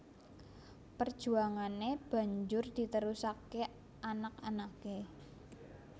Perjuangane banjur diterusaké anak anake